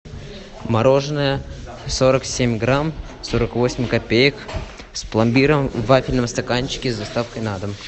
мороженое сорок семь грамм сорок восемь копеек с пломбиром в вафельном стаканчике с доставкой на дом